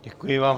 Děkuji vám.